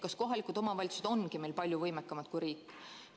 Kas kohalikud omavalitsused ongi meil palju võimekamad kui riik?